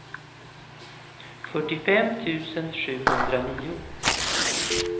fyrtiofem tusen sjuhundranio